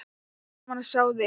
Gaman að sjá þig!